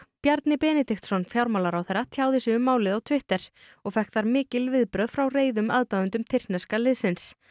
Bjarni Benediktsson fjármálaráðherra tjáði sig um málið á Twitter og fékk þar mikil viðbrögð frá reiðum aðdáendum tyrkneska liðsins